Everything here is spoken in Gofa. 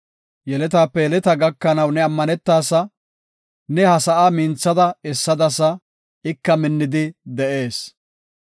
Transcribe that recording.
Yeletape yeletaa gakanaw ne ammanetaasa; ne ha sa7aa minthada essadasa; ika minnidi de7ees.